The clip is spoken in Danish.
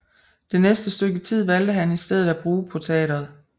Det næste stykke tid valgte han i stedet at bruge på teateret